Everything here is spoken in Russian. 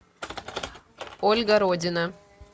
ольга родина